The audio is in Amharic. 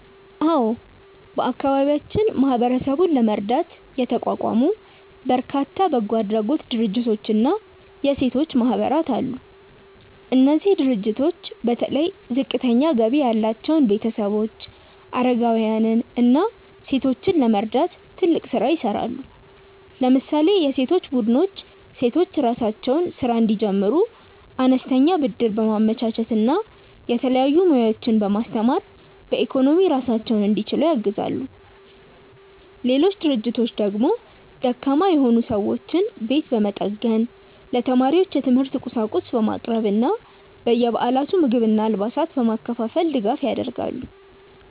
አዎ፣ በአካባቢያችን ማህበረሰቡን ለመርዳት የተቋቋሙ በርካታ በጎ አድራጎት ድርጅቶችና የሴቶች ማህበራት አሉ። እነዚህ ድርጅቶች በተለይ ዝቅተኛ ገቢ ያላቸውን ቤተሰቦች፣ አረጋውያንን እና ሴቶችን ለመርዳት ትልቅ ስራ ይሰራሉ። ለምሳሌ የሴቶች ቡድኖች ሴቶች የራሳቸውን ስራ እንዲጀምሩ አነስተኛ ብድር በማመቻቸት እና የተለያዩ ሙያዎችን በማስተማር በኢኮኖሚ ራሳቸውን እንዲችሉ ያግዛሉ። ሌሎች ድርጅቶች ደግሞ ደካማ የሆኑ ሰዎችን ቤት በመጠገን፣ ለተማሪዎች የትምህርት ቁሳቁስ በማቅረብ እና በየበዓላቱ ምግብና አልባሳትን በማከፋፈል ድጋፍ ያደርጋሉ።